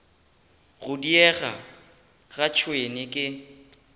go diega ga tšhwene ke